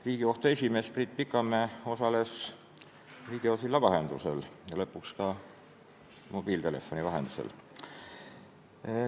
Riigikohtu esimees Priit Pikamäe osales videosilla vahendusel ja lõpuks ka mobiiltelefoni vahendusel.